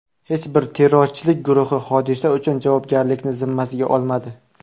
Hech bir terrorchilik guruhi hodisa uchun javobgarlikni zimmasiga olmadi.